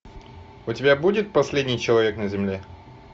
у тебя будет последний человек на земле